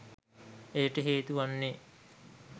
එයට හේතු වන්නේ